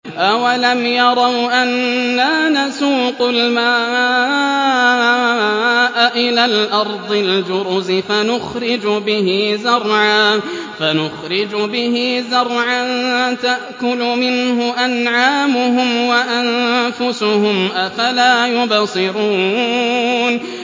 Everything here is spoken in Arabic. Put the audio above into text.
أَوَلَمْ يَرَوْا أَنَّا نَسُوقُ الْمَاءَ إِلَى الْأَرْضِ الْجُرُزِ فَنُخْرِجُ بِهِ زَرْعًا تَأْكُلُ مِنْهُ أَنْعَامُهُمْ وَأَنفُسُهُمْ ۖ أَفَلَا يُبْصِرُونَ